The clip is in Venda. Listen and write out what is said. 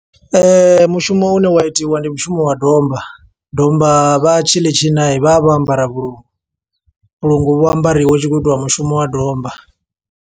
Mushumo une wa itiwa, ndi mushumo wa domba. Domba vha tshi ḽi tshina, vha vha vho ambara vhulungu. Vhulungu vho ambariwa hu tshi khou itiwa mushumo wa domba.